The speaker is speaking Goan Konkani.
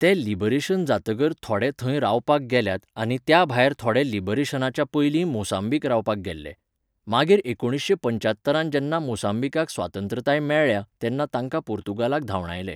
ते लिबरेशन जातकर थोडे थंय रावपाक गेल्यात आनी त्या भायर थोडे लिबरेशनाच्या पयलीं मोसांबीक रावपाक गेल्ले. मागीर एकुणशे पंचात्तरांत जेन्ना मोसांबीकाक स्वातंत्रताय मेळ्ळ्या तेन्ना तांकां पुर्तुगालाक धांवडायले.